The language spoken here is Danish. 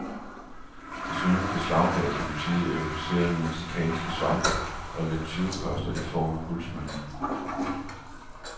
Desuden beslaglagde politiet euforiserende mexicanske svampe og lidt tyvekoster i form af guldsmykker.